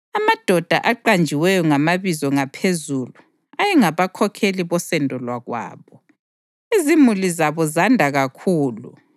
Amadoda aqanjiweyo ngamabizo ngaphezulu ayengabakhokheli bosendo lwakwabo. Izimuli zabo zanda kakhulu,